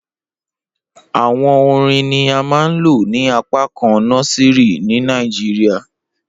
Awọn orin ni a maa n lo ni apakan nọsìrì ni Nigeria